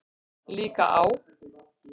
Líka á